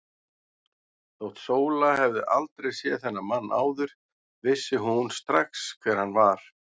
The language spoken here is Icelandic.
Þótt Sóla hefði aldrei séð þennan mann áður vissi hún strax hver hann var.